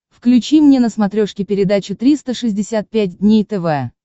включи мне на смотрешке передачу триста шестьдесят пять дней тв